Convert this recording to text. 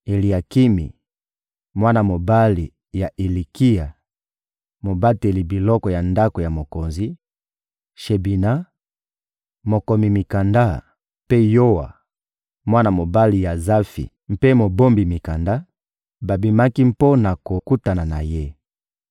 Eliakimi, mwana mobali ya Ilikia, mobateli biloko ya ndako ya mokonzi; Shebina, mokomi mikanda; mpe Yoa, mwana mobali ya Azafi mpe mobombi mikanda, babimaki mpo na kokutana na ye.